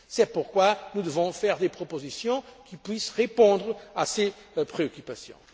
sérieuse. C'est pourquoi nous devons faire des propositions qui puissent répondre à ces préoccupations.